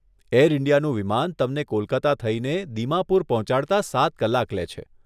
Air ઇન્ડિયાનું વિમાન તમને કોલકાતા થઈને દિમાપુર પહોંચાડતા સાત કલાક લે છે.